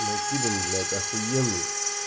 накидан блять ахуенный